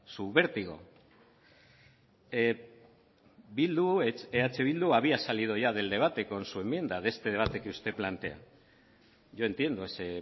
su vértigo bildu eh bildu había salido ya del debate con su enmienda de este debate que usted plantea yo entiendo ese